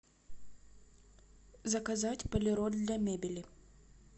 заказать полироль для мебели